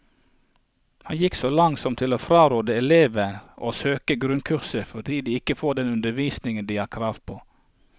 Han gikk så langt som til å fraråde elever å søke grunnkurset fordi de ikke får den undervisningen de har krav på.